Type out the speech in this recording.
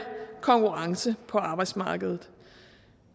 konkurrence på arbejdsmarkedet